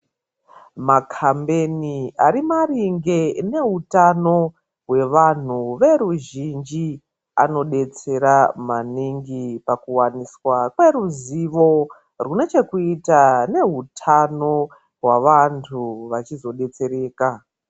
Makambeni ari maringe nehutano wevanhu veruzhinji anodetsera maningi pakuwaniswa kweruzivo rwunochokuita nehutano wevanhu vachizodetsereka.